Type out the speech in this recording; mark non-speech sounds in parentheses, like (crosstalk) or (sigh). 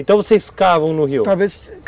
Então vocês cavam no rio? (unintelligible)